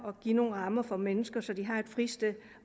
at give nogle rammer for nogle mennesker så de har et fristed